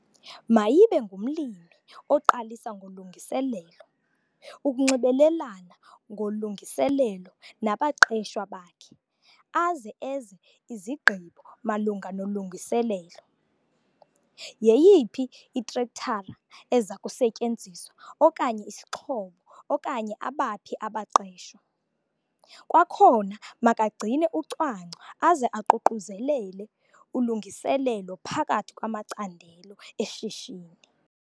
Mayibe ngumlimi oqalisa ngolungiselelo, ukunxibelelana ngolungiselelo nabaqeshwa bakhe aze eze izigqibo malunga nolungiselelo, yeyiphi itrektara eza kusetyenziswa okanye isixhobo okanye abaphi abaqeshwa. Kwakhona makagcine ucwangco aze aququzelele ulungiselelo phakathi kwamacandelo eshishini.